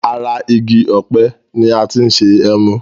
Ara igi òpe ni ati ṣe emu